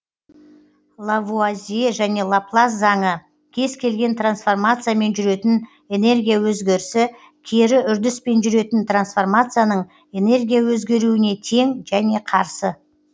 лавуазье және лаплас заңы кез келген трансформациямен жүретін энергия өзгерісі кері үрдіспен жүретін трансформацияның энергия өзгеруіне тең және қарсы